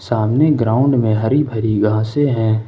सामने ग्राउंड में हरी भरी घासे है।